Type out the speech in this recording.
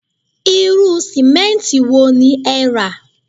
Irú sìmẹ́ǹtì wo ni ẹ rà